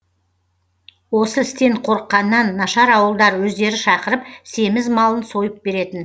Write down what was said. осы істен қорыкқаннан нашар ауылдар өздері шақырып семіз малын сойып беретін